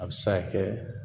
A bɛ se ka kɛ